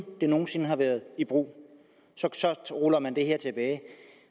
det nogen sinde har været i brug ruller man det her tilbage